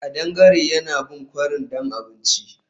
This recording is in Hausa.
Kadangare yana bin kwarin don abinci